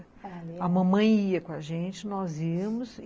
A mamãe ia com a gente, nós íamos.